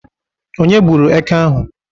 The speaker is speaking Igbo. Onye gburu Éké ahụ?